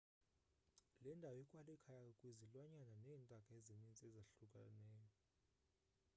le ndawo ikwalikhaya kwizilwanyana neentaka ezininzi ezahlukahlukeneyo